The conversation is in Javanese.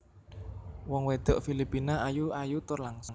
Wong wedok Filipina ayu ayu tur langsing